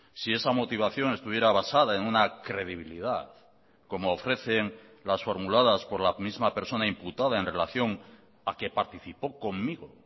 si esa motivación estuviera basada en una credibilidad como ofrecen las formuladas por la misma persona imputada en relación a que participó conmigo